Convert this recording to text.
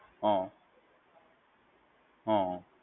હા. હા.